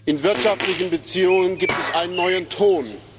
In wirtschaftlichen Beziehungen gibt es einen neuen Ton.